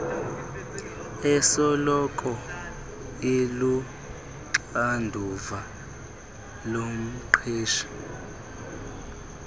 esoloko iluxanduva lomqeshi